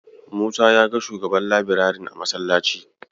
Musa ya ga shugaban labirarin a masallaci.